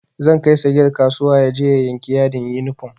Zan kai sagir kasuwa yaje ya yanki yadin yunifom